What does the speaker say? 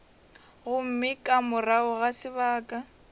gomme ka morago ga sebaka